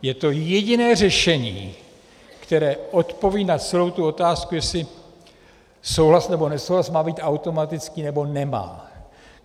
Je to jediné řešení, které odpoví na celou tu otázku, jestli souhlas nebo nesouhlas má být automatický, nebo nemá.